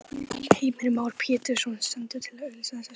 Heimir Már Pétursson: Stendur til að auglýsa þessa stöðu?